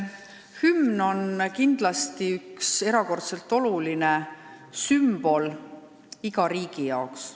Hümn on kindlasti erakordselt oluline sümbol iga riigi jaoks.